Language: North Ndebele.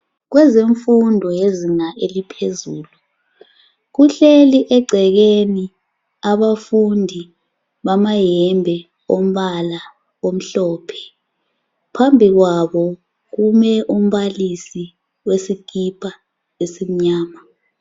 Kwezemfundo yezinga eliphezulu kuhleli egcekeni abafundi bamayembe amhlophe phambi kwabo kume umbalisi wesikipa esimnyama